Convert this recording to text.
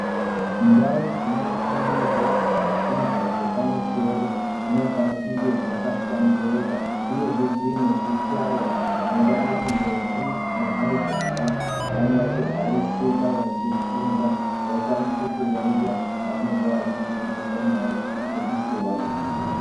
Ndau dzinofundirwa zvifundwa zvepamusoro dzinofanira kunga dzakahlamburuka. Uyezve dzine zvihlayo zvinoita kuti ndombi nemajaya vanyatsogarisika veifunda. Vakwanise kuyaiya zvavanenge zveifundiswa ngevafundisi vavo.